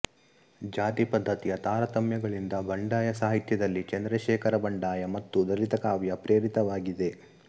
ಜಾತಿಪದ್ಧತಿಯ ತಾರತಮ್ಯಗಳಿಂದ ಬಂಡಾಯ ಸಾಹಿತ್ಯದಲ್ಲಿ ಚಂದ್ರಶೇಖರಬಂಡಾಯ ಮತ್ತು ದಲಿತ ಕಾವ್ಯ ಪ್ರೇರಿತವಾಗಿದೆ